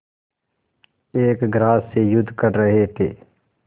एक ग्रास से युद्ध कर रहे थे